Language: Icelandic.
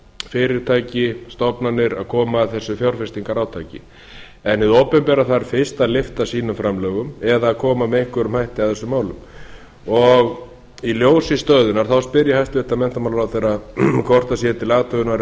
fyrirtæki og stofnanir að koma að þessu fjárfestingarátaki en hið opinbera þarf fyrst að lyfta sínum framlögum eða koma með einhverjum hætti að þessum máli í ljósi stöðunnar spyr ég hæstvirtan menntamálaráðherra er til athugunar í